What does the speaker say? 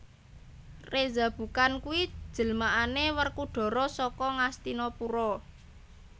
Reza Bukan kuwi jelmaane Werkudara saka Ngastina Pura